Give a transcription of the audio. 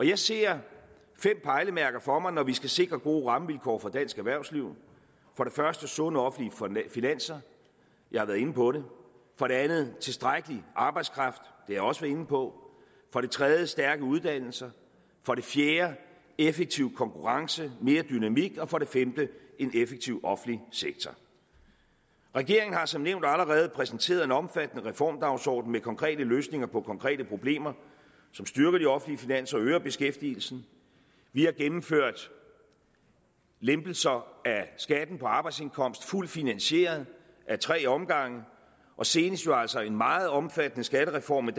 jeg ser fem pejlemærker for mig når vi skal sikre gode rammevilkår for dansk erhvervsliv for det første sunde offentlige finanser jeg har været inde på det for det andet tilstrækkelig arbejdskraft og jeg også været inde på for det tredje stærke uddannelser for det fjerde effektiv konkurrence og mere dynamik og for det femte en effektiv offentlig sektor regeringen har som nævnt allerede præsenteret en omfattende reformdagsorden med konkrete løsninger på konkrete problemer som styrker de offentlige finanser og øger beskæftigelsen vi har gennemført lempelser af skatten på arbejdsindkomster fuldt finansieret ad tre omgange og senest jo altså en meget omfattende skattereform